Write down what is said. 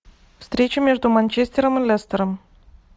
встреча между манчестером и лестером